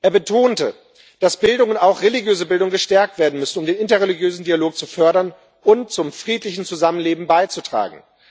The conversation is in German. Er betonte, dass Bildung und auch religiöse Bildung gestärkt werden müssten, um den interreligiösen Dialog zu fördern und zum friedlichen Zusammenleben beizutragen.